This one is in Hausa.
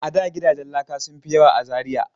A da gidajen laka sun fi yawa a Zariya.